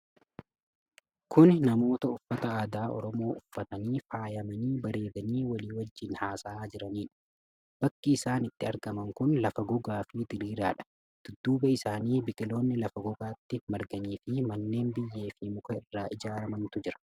Kuni namoota uffata aadaa Oromoo uffatanii, faayamanii bareedanii walii wajjin haasa'aa jiranidha. Bakki isaan itti argaman kun lafa gogaa fi diriiraadha. Dudduuba isaanii biqiloonni lafa gogaatti marganiifi manneen biyyee fi muka irraa ijaaramantu jira.